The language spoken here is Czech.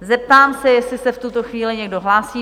Zeptám se, jestli se v tuto chvíli někdo hlásí.